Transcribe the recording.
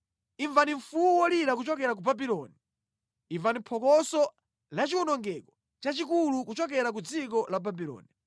“Imvani mfuwu wolira kuchokera ku Babuloni. Imvani phokoso lachiwonongeko chachikulu kuchokera mʼdziko la Babuloni.